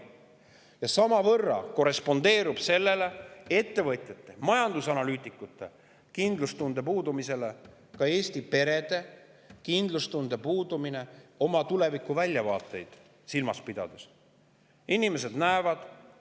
Ja samavõrra korrespondeerib ettevõtjate ja majandusanalüütikute kindlustunde puudumisele Eesti perede kindlustunde puudumine, kui nad peavad silmas oma tulevikuväljavaateid.